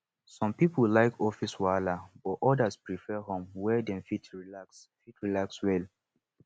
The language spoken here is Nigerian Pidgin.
some people like office wahala but others prefer home where dem fit relax fit relax well